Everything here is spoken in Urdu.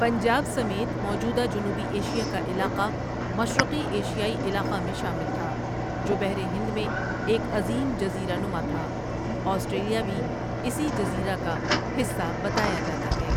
پنجاب سمیت موجودہ جنوبی ایشیا کا علاقہ مشرقی ایشیائی علاقہ میں شامل تھا جو بحر ہند میں ایک عظیم جزیرہ نما تھا آسٹریلیا بھی اسی جزیرہ کا حصہ بتایا جاتا ہے ۔